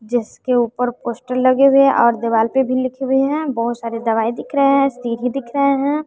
जिसके ऊपर पोस्टर लगे हुए है और देवाल पे भी लिखे हुए है बहोत सारे दवाई दिख रहे हैं सीढ़ी दिख रहे है।